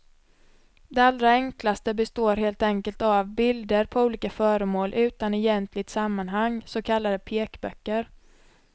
De allra enklaste består helt enkelt av bilder på olika föremål utan egentligt sammanhang, så kallade pekböcker.